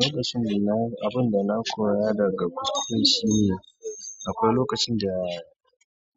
Lokacin da na, abin da na koya daga kuskure shine akwai lokacin da